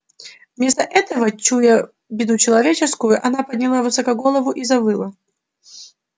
вместо этого чуя беду человеческую она подняла высоко голову и завыла